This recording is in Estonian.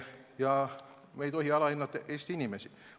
Samuti ei tohi me alahinnata Eesti inimesi.